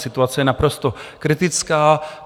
Situace je naprosto kritická.